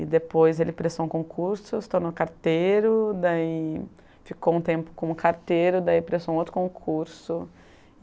E depois ele prestou um concurso, se tornou carteiro, daí ficou um tempo como carteiro, daí prestou um outro concurso.